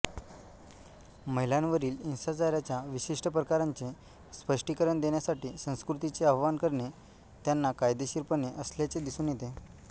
महिलांवरील हिंसाचाराच्या विशिष्ट प्रकारांचे स्पष्टीकरण देण्यासाठी संस्कृतीचे आवाहन करणे त्यांना कायदेशीरपणाचे असल्याचे दिसून येते